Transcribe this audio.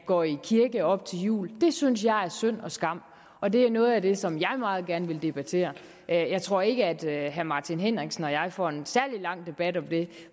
gå i kirke op til jul det synes jeg er synd og skam og det er noget af det som jeg meget gerne vil debattere jeg tror ikke at herre martin henriksen og jeg får en særlig lang debat om det